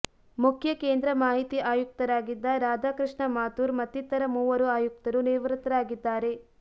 ಮುಖ್ಯ ಕೇಂದ್ರ ಮಾಹಿತಿ ಆಯುಕ್ತರಾಗಿದ್ದ ರಾಧಾಕೃಷ್ಣ ಮಾಥುರ್ ಮತ್ತಿತರ ಮೂವರು ಆಯುಕ್ತರು ನಿವೃತ್ತರಾಗಿದ್ದಾರೆ